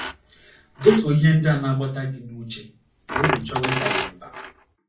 Detuo ihe ndị na - agbata gị n’uche ma obi chọwa ịda gị mbà.